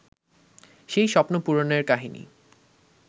সেই স্বপ্ন পূরণের কাহিনি